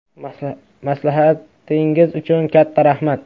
Maslahatingiz uchun katta rahmat.